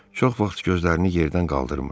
Çox vaxt gözlərini yerdən qaldırmır.